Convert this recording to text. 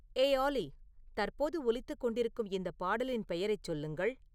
ஏய் ஆலி தற்போது ஒலித்துக் கொண்டிருக்கும் இந்த பாடலின் பெயரைச் சொல்லுங்கள்